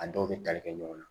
A dɔw bɛ tali kɛ ɲɔgɔn na